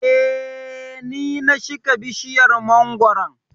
eh ,Ni na shika bishiyar mangwaro